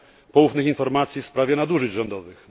poufnych informacji w sprawie nadużyć rządowych.